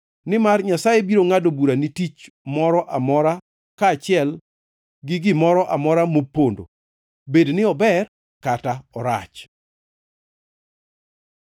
Nimar Nyasaye biro ngʼado bura ni tich moro amora, kaachiel gi gimoro amora mopondo, bed ni ober kata orach.